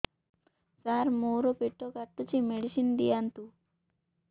ସାର ମୋର ପେଟ କାଟୁଚି ମେଡିସିନ ଦିଆଉନ୍ତୁ